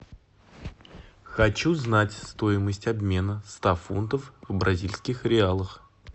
хочу знать стоимость обмена ста фунтов в бразильских реалах